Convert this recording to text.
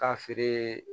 K'a feere